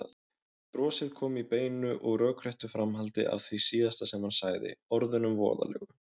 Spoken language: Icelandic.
Brosið kom í beinu og rökréttu framhaldi af því síðasta sem hann sagði, orðunum voðalegu.